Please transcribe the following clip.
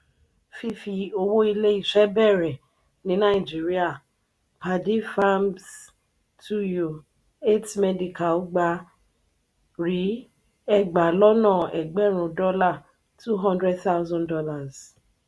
fifi owó ilé ìṣe béèrè ní nàìjíríà: paddy farmz two u eight medical gba - ri egba lọ́nà egberun dola ($ two hundred thousand )